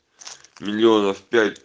миллионов пять